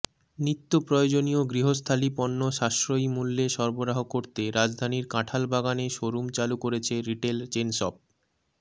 নিত্য প্রয়োজনীয় গৃহস্থালী পণ্য সাশ্রয়ী মূল্যে সরবরাহ করতে রাজধানীর কাঠালবাগানে শোরুম চালু করেছে রিটেইল চেইনশপ